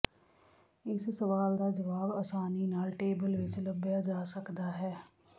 ਇਸ ਸਵਾਲ ਦਾ ਜਵਾਬ ਆਸਾਨੀ ਨਾਲ ਟੇਬਲ ਵਿੱਚ ਲੱਭਿਆ ਜਾ ਸਕਦਾ ਹੈ